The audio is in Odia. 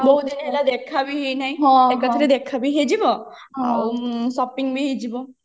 ବହୁଦିନ ହେଲା ଦେଖା ବି ହେଇନାହି ହଁ ଏବେ ଥରେ ଦେଖା ବି ହେଇଯିବ ଆଉ shopping ବି ହେଇଯିବ